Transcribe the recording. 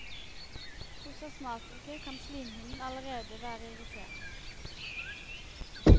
Hos astmatikere kan slimhinnen allerede være irritert.